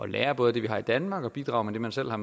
lære både det vi har i danmark og bidrage med det man selv har